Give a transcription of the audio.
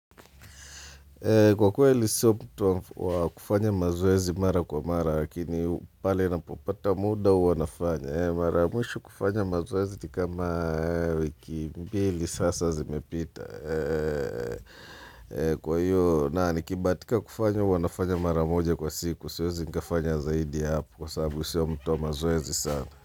Kwa kuweli mimi sio mtu wakufanya mazoezi mara kwa mara, lakini pale napopata muda huwanafanya. Mara mwisho kufanya mazoezi nikama wiki mbili sasa zimepita. Kwa hiyo, na nikibahatika kufanya huwanafanya mara moja kwa siku, siwezi nikafanya zaidi hapu kwa sababu mimi sio wa mtu wakufanya mazoezi sana.